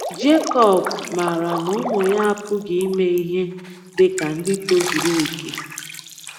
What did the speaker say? Jekọb maara na ụmụ ya apụghị ime ihe dị ka ndị tozuru oke.